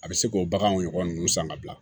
A bɛ se k'o baganw ɲɔgɔn san ka bila